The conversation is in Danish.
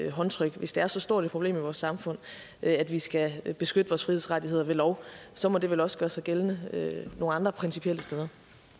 håndtryk hvis det er så stort et problem i vores samfund at vi skal beskytte vores frihedsrettigheder ved lov så må det vel også gøre sig gældende nogle andre principielle steder